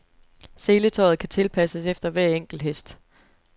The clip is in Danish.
Seletøjet kan tilpasses efter hver enkelt hest.